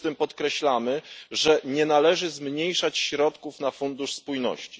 6. podkreślamy, że nie należy zmniejszać środków na Fundusz Spójności.